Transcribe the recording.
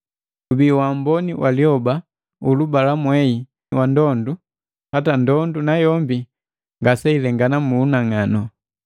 Gubii waamboni wa liyoba, ulubalamwehi na ndondu, hata ndondu nayombi ngaseilengana mu unang'anu.